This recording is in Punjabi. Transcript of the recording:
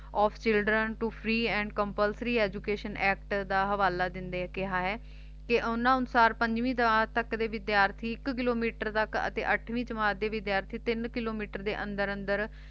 of children to free and compulsory education act ਦਾ ਹਵਾਲਾ ਦਿੰਦੇ ਕਿਹਾ ਹੈ ਕਿ ਉਨ੍ਹਾਂ ਅਨੁਸਾਰ ਪੰਜਵੀਂ ਜਮਾਤ ਤੱਕ ਦੇ ਵਿਦਿਆਰਥੀ ਇੱਕ ਕਿਲੋਮੀਟਰ ਤੱਕ ਅਤੇ ਅੱਠਵੀਂ ਜਮਾਤ ਦੇ ਵਿਦਿਆਰਥੀ ਤਿੰਨ ਕਿਲੋਮੀਟਰ ਦੇ ਅੰਦਰ ਅੰਦਰ